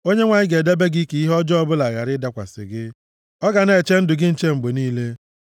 Onyenwe anyị ga-edebe gị ka ihe ọjọọ ọbụla ghara ịdakwasị gị. Ọ ga na-eche ndụ gị nche mgbe niile.